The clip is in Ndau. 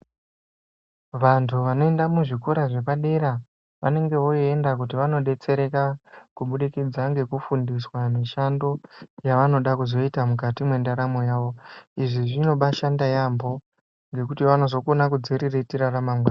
Vanthu vanoenda muzvikora zvepadera vanenge voenda kuti vandodetsereka kubudikidza ngekufundiswa mishando yavanoda kuzoita mukati mwendaramo yavo izvi zvinobashanda yambho ngekuti vanozokona kuzviriritira ramangwani.